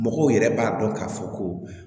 Mɔgɔw yɛrɛ b'a dɔn k'a fɔ ko